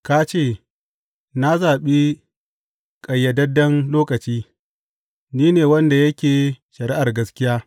Ka ce, Na zaɓi ƙayyadadden lokaci; ni ne wanda yake shari’ar gaskiya.